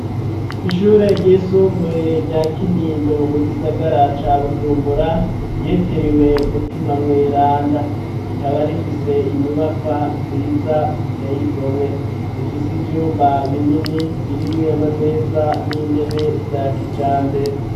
Ishure ryisumbuye, rya Kinindo, mu gisagara ca Bujumbura, ryitiriwe mutima mweranda, rikaba rifise, inyubakwa nziza, ziteye igomwe; zifise ivyumba binini, birimwo amameza, n'intebe, vya kijambere.